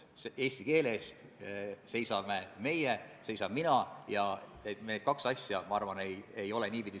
Ma ise arvan, et me peame siin nüüd selle muudatusettepaneku tagasi lükkama ja andma sihtgrupile aega sellega tutvuda.